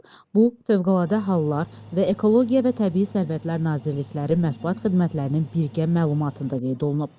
Bu Fövqəladə Hallar və Ekologiya və Təbii Sərvətlər Nazirlikləri Mətbuat xidmətlərinin birgə məlumatında da qeyd olunub.